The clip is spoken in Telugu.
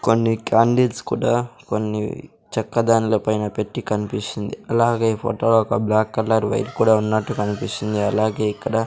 కొన్ని క్యాండిల్స్ కూడా కొన్ని చెక్కదానుల పైన పెట్టి కన్పిస్తుంది అలాగే ఈ ఫోటో ఒక బ్లాక్ కలర్ కూడా ఉన్నట్టు కన్పిస్తుంది అలాగే ఇక్కడ --